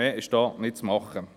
Mehr ist da nicht zu machen.